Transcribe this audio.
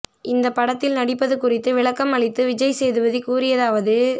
இந்தப் படத்தில் நடிப்பது குறித்து விளக்கம் அளித்து விஜய் சேதுபதி கூறியதாவது